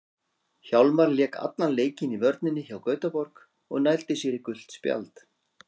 Hjálmar lék allan leikinn í vörninni hjá Gautaborg og nældi sér í gult spjald.